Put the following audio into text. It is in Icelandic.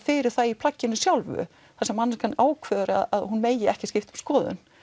fyrir það í plagginu sjálfu þar sem manneskjan ákveður að hún megi ekki skipta um skoðun